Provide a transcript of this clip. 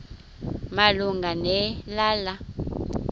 malunga ne lala